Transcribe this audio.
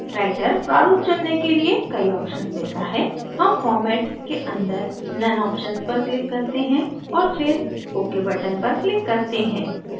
writer प्रारूप चुनने के लिए कई options देता है हम format के अंदर none options पर click करते हैं और फिर ok button पर click करते हैं